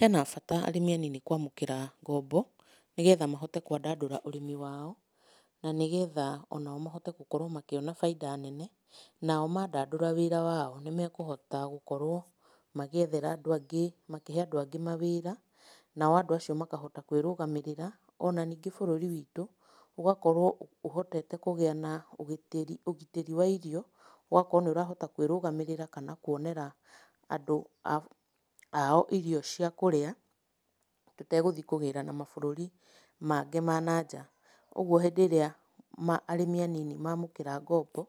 Hena bata arĩmi anini kwamũkĩra ngombo, nĩgetha mahote kwandandũra ũrĩmi wao, na nĩgetha onao mahote gũkorwo makĩona bainda nene, nao mandandũra wĩra wao nĩmekũhota gũkorwo magĩethera andũ angĩ, makĩhe andũ angĩ mawĩra, nao andũ acio makahota kwĩrũgamĩrĩra. Ona ningĩ bũrũri witũ ũgakorwo ũhotete kũgĩa na ũgitĩri, ũgitĩri wa irio, ũgakorwo nĩ ũrahota kwĩrũgamĩrĩra kana kuonera andũ ao irio cia kũrĩa, tũtegũthiĩ kũgĩra na mabũrũri mangĩ ma na nja. Ũguo hĩndĩ ĩrĩa ma arĩmi anini mamũkĩra ngombo,